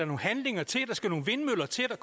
nogle handlinger til der skal nogle vindmøller til